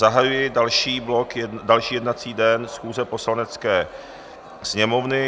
Zahajuji další jednací den schůze Poslanecké sněmovny.